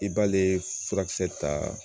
I b'ale furakisɛ ta